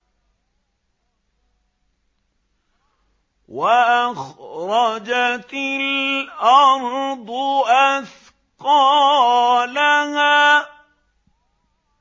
وَأَخْرَجَتِ الْأَرْضُ أَثْقَالَهَا